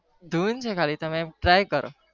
ધૂન છે ખાલી અમ try કરો